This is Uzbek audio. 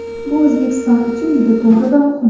Bu O‘zbekiston uchun juda to‘g‘ri va muhim.